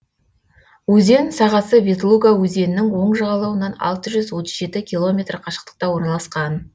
өзен сағасы ветлуга өзенінің оң жағалауынан алты жүз отыз жеті километр қашықтықта орналасқан